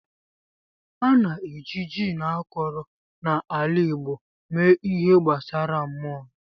A na-eji gin akọrọ na ala igbo mee ihe gbasara mmụọ.